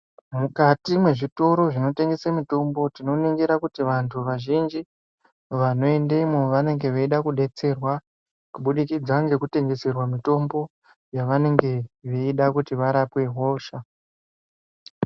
Mukati mwezvitoro zvinotengese mutombo tinoningira kuti vantu vazhinji vanoendemwo vanenge veida kudetserwa kubudikidza ngekutwngeserwa mutombo yavanenge veida kuti varapwe hosha.